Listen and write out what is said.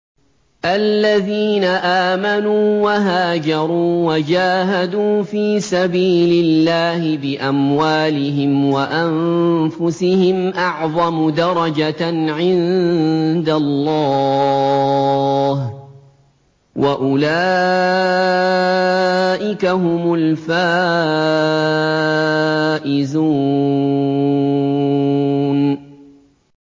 الَّذِينَ آمَنُوا وَهَاجَرُوا وَجَاهَدُوا فِي سَبِيلِ اللَّهِ بِأَمْوَالِهِمْ وَأَنفُسِهِمْ أَعْظَمُ دَرَجَةً عِندَ اللَّهِ ۚ وَأُولَٰئِكَ هُمُ الْفَائِزُونَ